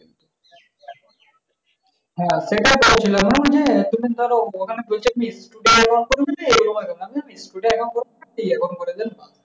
হ্যাঁ সেটাই করেছিলাম ওইযে ধর ওখনে বলছিলাম না? দুইটা account করবো না একটা account করে দেন।